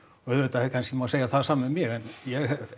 auðvitað má kannski segja það sama um mig en ég